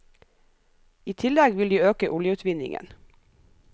I tillegg vil de øke oljeutvinningen.